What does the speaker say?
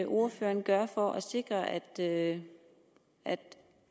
ordføreren gøre for at sikre at at